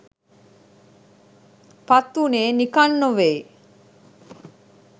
පත්වුණේ නිකන් නෙවෙයි